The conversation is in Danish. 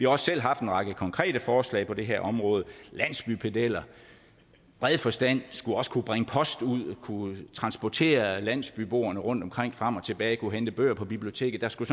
også selv haft en række konkrete forslag på det her område landsbypedeller i bred forstand skulle også kunne bringe post ud kunne transportere landsbyboerne rundtomkring frem og tilbage og kunne hente bøger på biblioteket der skulle